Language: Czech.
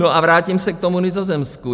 No a vrátím se k tomu Nizozemsku.